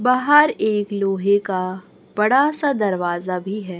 बाहर एक लोहे का बड़ा सा दरवाजा भी है।